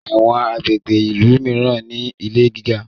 Àwọn agbègbè ilú míràn ní ilè gíga.